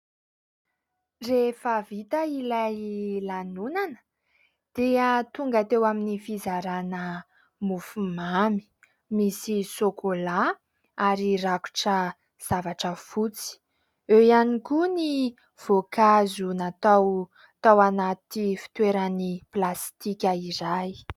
Rehefa vita ilay lanonana dia tonga teo amin'ny fizarana mofomamy. Misy sôkola ary rakotra zavatra fotsy. Eo ihany koa ny voankazo natao tao anaty fitoerany plastika iray.